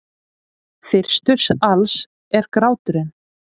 Fyrstur alls er gráturinn.